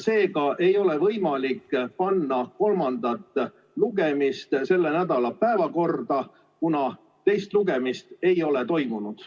Seega ei ole võimalik panna kolmandat lugemist selle nädala päevakorda, kuna teist lugemist ei ole toimunud.